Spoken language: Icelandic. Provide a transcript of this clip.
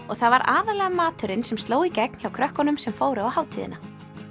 og það var aðallega maturinn sem sló í gegn hjá krökkunum sem fóru á hátíðina